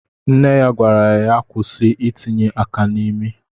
Nne ya gwara ya kwụsị itinye aka n'imi.